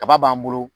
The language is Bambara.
Kaba b'an bolo